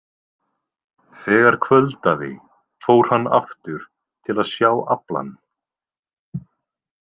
Þegar kvöldaði fór hann aftur til að sjá aflann.